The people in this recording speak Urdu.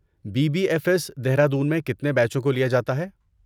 Be B F S, Dehradun میں کتنے بیچوں کو لیا جاتا ہے؟